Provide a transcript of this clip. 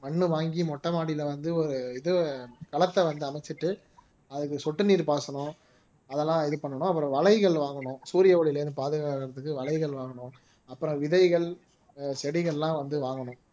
மண்ணு வாங்கி மொட்டை மாடியில வந்து ஒரு இது களத்தை வந்து அமைச்சிட்டு அதுக்கு சொட்டு நீர் பாசனம் அதெல்லாம் இது பண்ணணும் அப்புறம் வலைகள் வாங்கணும் சூரிய ஒளியில இருந்து பாதுகாக்கிறதுக்கு வலைகள் வாங்கணும் அப்புறம் விதைகள் செடிகள்லாம் அஹ் வந்து வாங்கணும்